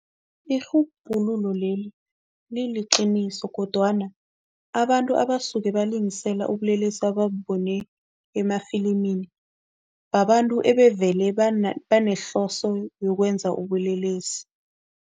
Irhubhululo leli liliqiniso kodwana abantu abasuke balingisela ubulelesi ababubone emafilimini, babantu ebevele banehloso yokwenza ubulelesi.